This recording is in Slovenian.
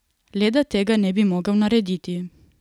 Le da tega ne bi mogel narediti.